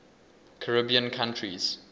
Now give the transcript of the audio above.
caribbean countries